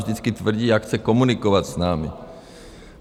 Vždycky tvrdí, jak chce komunikovat s námi.